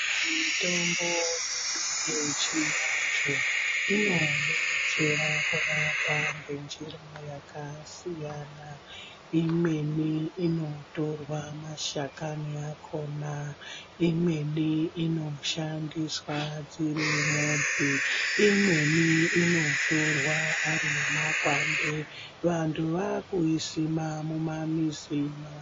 Mitombo yedu yechivanthu inodetsera kurapa ngenjira yakasiyana, imweni inotorwa mashakani akhona imweni inoshandiswa dziri mudzi imweni inotorwa ari makwande. Vanthu vaakuisima mumamizi mavo.